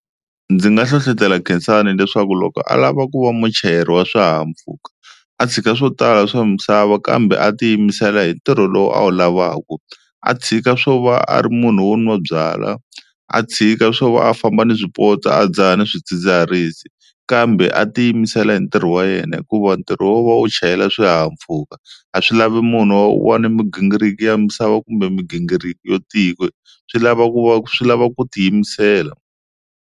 Ndzi nga hlohlotela Khensani leswaku loko a lava ku va muchayeri wa swihahampfhuka a tshika swo tala swa misava kambe a tiyimisela hi ntirho lowu a wu lavaka, a tshika swo va a ri munhu wo nwa byalwa a tshika swo va a famba ni swipotso a dzaha ni swidzidziharisi, kambe a tiyimisela hi ntirho wa yena hikuva ntirho wo va u chayela swihahampfhuka a swi lavi munhu wa kuva na migingiriko ya misava kumbe migingiriko yo tika swi lava ku va swi lava ku tiyimisela.